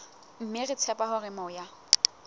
mme re tshepa hore moya